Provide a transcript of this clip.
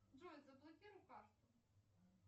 джой заблокируй карту